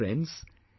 Friends,